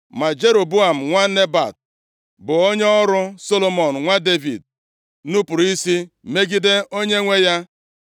Ma Jeroboam, nwa Nebat, bụ onye ọrụ Solomọn nwa Devid, nupuru isi megide onyenwe ya.